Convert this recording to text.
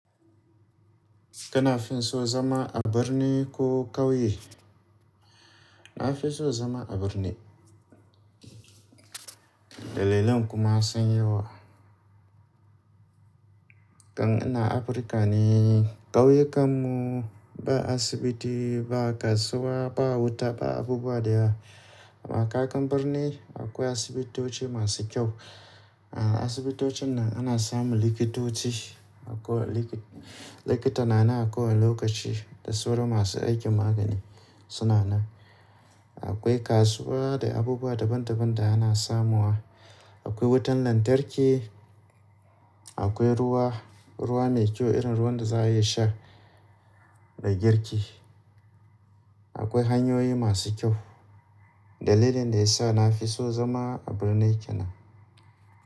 Kana fin so zama a birni ko ƙauye? Na fi so zama a birni. Dalilan kuma sanyi. Kan ina Afirka ne, ƙauyukanmu ba asibiti ba, ba kasuwa ba, wuta ba, abu ba daya. Amma kagan birni akwai asibitoci masu kyau. A asibitocin nan ana samun likitoci. Akwai likita, likita na nan a kowane lokaci da saura masu aikin magani suna nan. Akwai kasuwa da abubuwa daban daban da ana samuwa. Akwai wutan lantarki, akwai ruwa, ruwa mai kyau irin ruwan da za a iya sha da girki. Akwai hanyoyi masu kyau. Dalilin da ya sa na fi so zama a birni kenan.